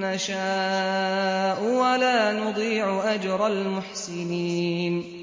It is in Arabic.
نَّشَاءُ ۖ وَلَا نُضِيعُ أَجْرَ الْمُحْسِنِينَ